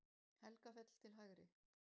Helgafell til hægri.